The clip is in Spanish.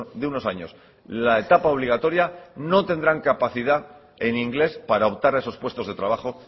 de unos años la etapa obligatoria no tendrán capacidad en inglés para optar a esos puestos de trabajo